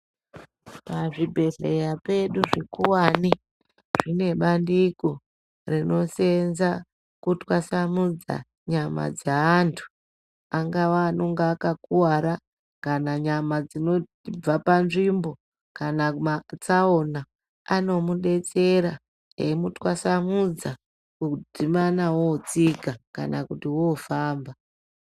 Pazvibhehleya pedu zvikora zvikuwani zvine bandiko rinoseenza kutwasanudza nyama dzeantu ava anenge akakuwara kana nyama dzinobva panzvimbo kana matsaona anomudetsera eimutwasanudza kudzimana wotsika kana wofamba.